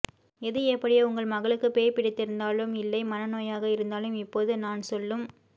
எது எப்படியோ உங்கள் மகளுக்கு பேய் பிடித்திருந்தாலும் இல்லை மனநோயாக இருந்தாலும் இப்போது நான் சொல்லும்